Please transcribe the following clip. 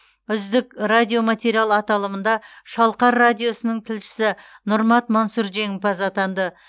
үздік радиоматериал аталымында шалқар радиосының тілшісі нұрмат мансұр жеңімпаз атанды